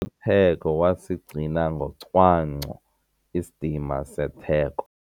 theko wasigcina ngocwangco isidima setheko.